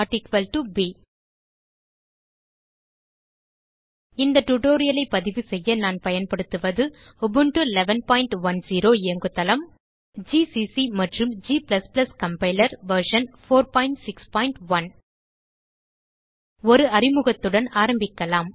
a160 ப் இந்த tutorialஐ பதிவுசெய்ய நான் பயன்படுத்துவது உபுண்டு 1110 இயங்குதளம் Ubuntuல் ஜிசிசி மற்றும் g கம்பைலர் வெர்ஷன் 461 ஒரு அறிமுகத்துடன் ஆரம்பிக்கலாம்